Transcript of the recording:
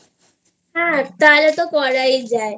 হ্যাঁ তাহলে তো করাই যায়